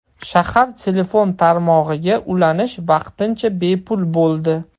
Shahar telefon tarmog‘iga ulanish vaqtincha bepul bo‘ldi.